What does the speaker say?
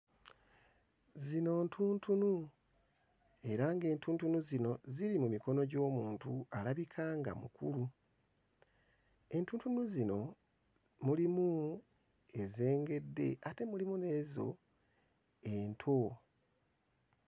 Zino ntuntunu era ng'entuntunu zino ziri mu mikono gy'omuntu alabika nga mukulu. Entuntunu zino mulimu ezengedde ate mulimu n'ezo ento.